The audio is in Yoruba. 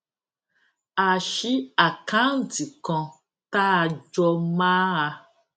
a ṣí àkáǹtì kan tá a jọ máa